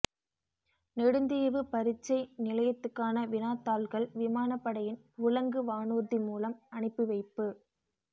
நெடுந்தீவு பரீட்சை நிலையத்துக்கான வினாத் தாள்கள் விமானப் படையின் உலங்கு வானூர்தி மூலம் அனுப்பி வைப்பு